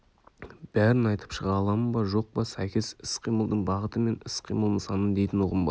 бәрін айтып шыға аламын ба жоқ па сәйкес іс-қимылдың бағыты мен іс-қимыл нысаны дейтін ұғым бар